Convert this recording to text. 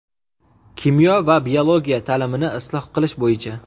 Kimyo va biologiya taʼlimini isloh qilish bo‘yicha.